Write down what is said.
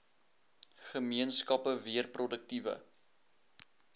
gemeenskappe weer produktiewe